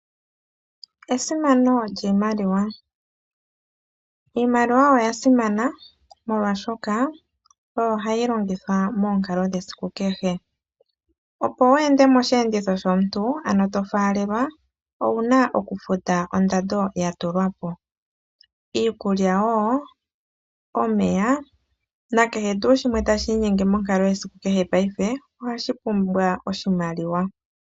Esimano lyiimaliwa. Iimaliwa oya simana molwaashoka oyo hayi longithwa moonkalo dhesiku kehe. Opo wu ende moshiyenditho shomuntu ano to faalelwa owuna oku futa ondando ya tulwapo. Iikulya wo omeya na kehe tuu shimwe tashi inyenge monkalo yesiku kehe paife ohashi pumbwa oshimaliwa.